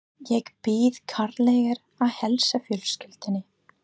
Ég bið kærlega að heilsa fjölskyldunni.